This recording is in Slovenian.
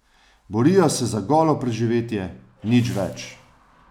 Borijo se za golo preživetje, nič več.